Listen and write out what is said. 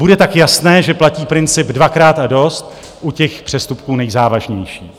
Bude tak jasné, že platí princip dvakrát a dost u těch přestupků nejzávažnějších.